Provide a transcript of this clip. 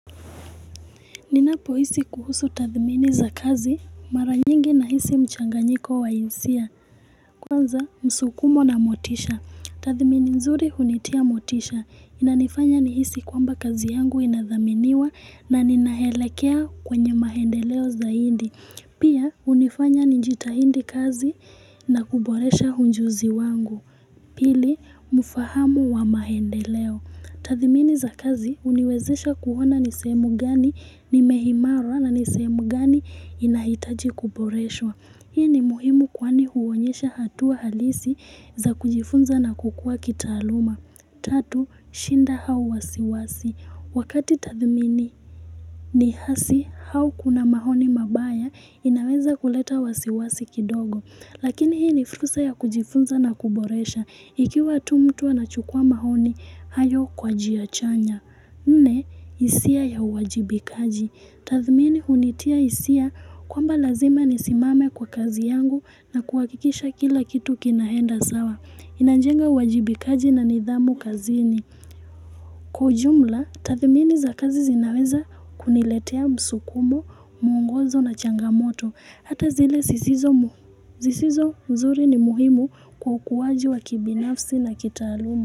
Ninapo hisi kuhusu tathmini za kazi, mara nyingi na hisi mchanganyiko wa hisia. Kwanza, msukumo na motisha. Tathmini nzuri hunitia motisha. Inanifanya ni hisi kwamba kazi yangu inathaminiwa na ninaelekea kwenye maendeleo zaidi. Pia, hunifanya nijitahidi kazi na kuboresha ujuzi wangu. Pili, mfahamu wa mahendeleo. Tathimini za kazi uniwezesha kuona nisehemu gani nimeimara na nisehemu gani inahitaji kuboreshwa. Hii ni muhimu kwani huonyesha hatua halisi za kujifunza na kukua kitaaluma. Tatu, shinda au wasiwasi. Wakati tathimini ni hasi au kuna maoni mabaya inaweza kuleta wasiwasi kidogo. Lakini hii ni fursa ya kujifunza na kuboresha. Ikiwa tu mtu anachukua maoni, hayo kwa jiachanya. Nne, hisia ya uwajibikaji. Tathmini hunitia hisia kwamba lazima nisimame kwa kazi yangu na kuhakikisha kila kitu kinaenda sawa. Inajenga uwajibikaji na nidhamu kazini. Kwa ujumla, tathmini za kazi zinaweza kuniletea msukumo, muongozo na changamoto. Hata zile sisizo mzuri ni muhimu kwa ukuwaji wa kibinafsi na kitaalumu.